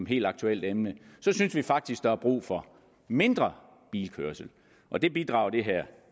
helt aktuelt emne så synes vi faktisk at der er brug for mindre bilkørsel og det bidrager det her